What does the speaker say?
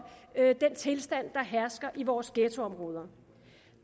den tilstand der hersker i vores ghettoområder